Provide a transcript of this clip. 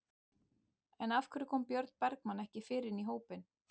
En af hverju kom Björn Bergmann ekki fyrr inn í hópinn?